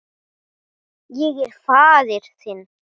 Ég er faðir þinn.